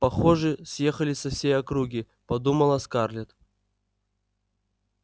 похоже съехались со всей округи подумала скарлетт